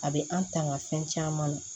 A bɛ an tanga fɛn caman